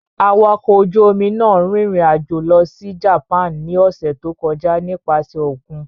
Awakọ̀ ojú-omi náà rìnrìn-àjò lọ sí Japan ní ọ̀sẹ̀ tó kọjá nípasẹ̀ òkun.